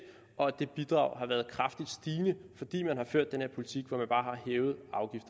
og at det bidrag har været kraftigt stigende fordi man har ført den her politik hvor